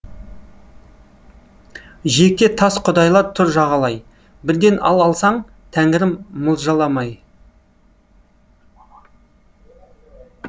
жиекте тас құдайлар тұр жағалай бірден ал алсаң тәңірім мылжаламай